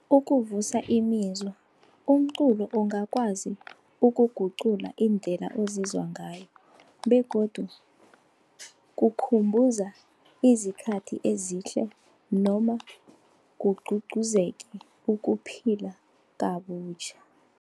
Ukuvusa imizwa, umculo ungakwazi ukugucula indlela ozizwa ngayo. Begodu kukhumbuza izikhathi ezihle noma kugcugcuzeke ukuphila kabutjha.